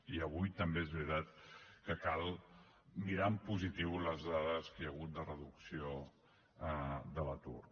i avui també és veritat que cal mirar en positiu les dades que hi ha hagut de reducció de l’atur